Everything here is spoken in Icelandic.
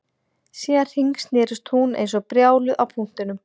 Síðan hringsnerist hún eins og brjáluð á punktinum